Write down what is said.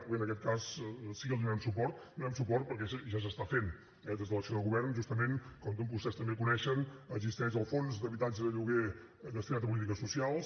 bé en aquest cas sí que els donarem suport els donarem suport perquè ja s’està fent eh des de l’acció de govern justament com vostès també coneixen existeix el fons d’habitatges de lloguer destinat a polítiques socials